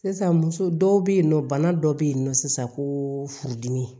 Sisan muso dɔw be yen nɔ bana dɔ be yen nɔ sisan ko furudimi